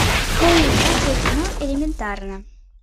показывай кино элементарно